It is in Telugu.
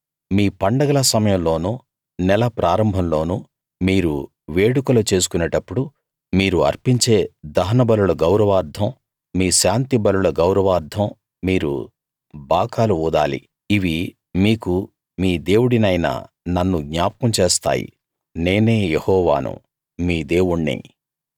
మీ పండగల సమయంలోనూ నెల ప్రారంభంలోనూ మీరు వేడుకలు చేసుకునేటప్పుడు మీరు అర్పించే దహన బలుల గౌరవార్ధం మీ శాంతి బలుల గౌరవార్ధం మీరు బాకాలు ఊదాలి ఇవి మీకు మీ దేవుడినైన నన్ను జ్ఞాపకం చేస్తాయి నేనే యెహోవాను మీ దేవుణ్ణి